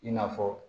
I n'a fɔ